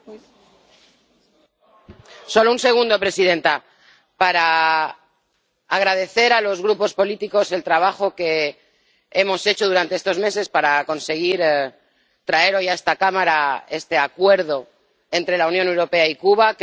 Señora presidenta, solo un segundo para agradecer a los grupos políticos el trabajo que hemos hecho durante estos meses para conseguir traer hoy a esta Cámara este Acuerdo entre la Unión Europea y Cuba.